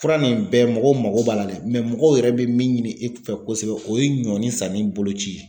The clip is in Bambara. Fura nin bɛɛ mɔgɔ b'a la dɛ mɔgɔw yɛrɛ bɛ min ɲini e fɛ kosɛbɛ o ye ɲɔnin sanni boloci ye